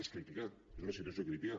és crítica és una situació crítica